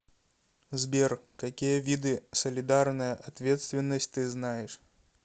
сбер какие виды солидарная ответственность ты знаешь